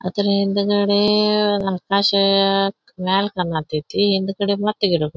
ಆತನ ಹಿಂದಗಡೆ ಆಕಾಶ ಮ್ಯಾಲ್ ಹಿಂದಗಡೆ ಮತ್ತ ಗಿಡಗಳು.